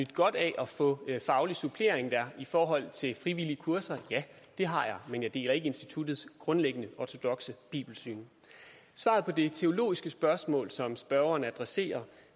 godt af at få faglig supplering dér i forhold til frivillige kurser ja det har jeg men jeg deler ikke instituttets grundlæggende ortodokse bibelsyn svaret på det teologiske spørgsmål som spørgeren adresserer